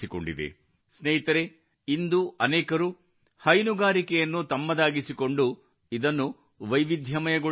ಸ್ನೇಹಿತರೇ ಇಂದು ಅನೇಕರರು ಹೈನುಗಾರಿಕೆಯನ್ನು ತಮ್ಮದಾಗಿಸಿಕೊಂಡು ಇದನ್ನು ವೈವಿಧ್ಯಮಯಗೊಳಿಸುತ್ತಿದ್ದಾರೆ